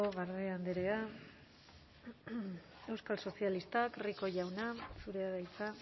garde andrea euskal sozialistak rico jauna zurea da hitza